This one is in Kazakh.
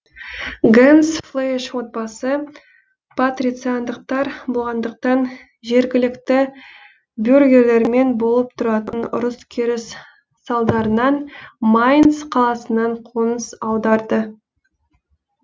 генсфлейш отбасы патрициандықтар болғандықтан жергілікті бюргерлермен болып тұратын ұрыс керіс салдарынан майнц қаласынан қоныс аударды